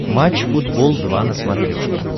матч футбол два на смотрешке